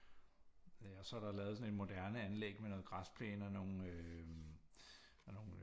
Øh og så er der lavet sådan noget en moderne anlæg med noget græsplæne og nogle øh sådan nogle